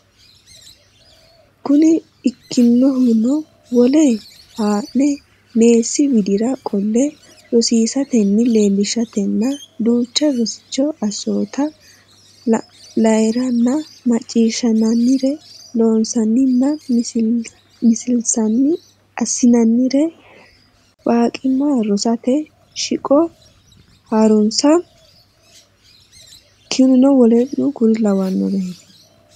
Kuni ikkinohuno wole haa ne meessi widira qolle rosiisatenni leellishatenna duuchu rosichi assoote la nayrenna macciishshinannire loonsanninna millinsanni assinannire baqqiima rosate shiqo ha runsi keeno w k l.